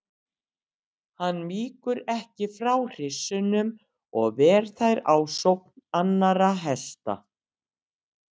Hann víkur ekki frá hryssunum og ver þær ásókn annarra hesta.